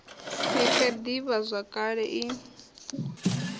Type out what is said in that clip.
si fe d ivhazwakale i